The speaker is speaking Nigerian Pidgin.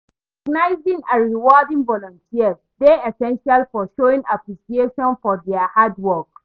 recognizing and rewarding volunters dey essential for showing appreciation for dia hard work.